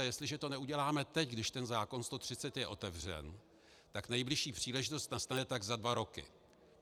A jestliže to neuděláme teď, když ten zákon č. 130 je otevřen, tak nejbližší příležitost nastane tak za dva roky.